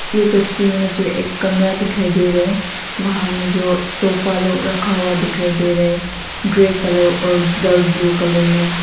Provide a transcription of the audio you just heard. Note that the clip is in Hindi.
यह तस्वीर में जो एक कमरा दिखाई दे रहा है वहां में जो सोफा लोग रखा हुआ दिखाई दे रहा है ग्रे कलर और डार्क ब्लू कलर में।